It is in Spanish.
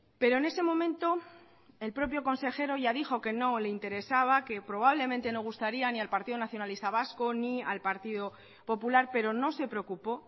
pero en ese momento el propio consejero ya dijo que no le interesaba que probablemente no gustaría ni al partido nacionalista vasco ni al partido popular pero no se preocupó